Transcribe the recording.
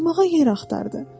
Oturmağa yer axtardı.